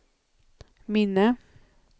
minne